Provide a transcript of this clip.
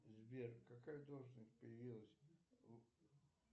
сбер какая должность появилась в